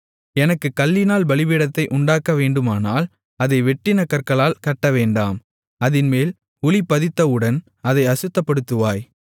எனக்குக் கல்லினால் பலிபீடத்தை உண்டாக்கவேண்டுமானால் அதை வெட்டின கற்களால் கட்டவேண்டாம் அதின்மேல் உளி பதித்தவுடன் அதை அசுத்தப்படுத்துவாய்